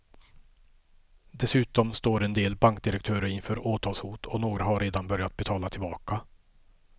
Dessutom står en del bankdirektörer inför åtalshot och några har redan börjat betala tillbaka.